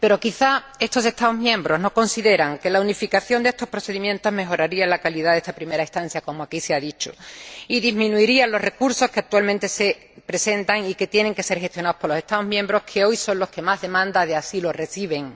Pero quizá estos Estados miembros no consideran que la unificación de estos procedimientos mejoraría la calidad de la primera estancia ―como aquí se ha dicho― y disminuiría los recursos que actualmente se presentan y que tienen que ser gestionados por los Estados miembros que hoy más demandas de asilo reciben.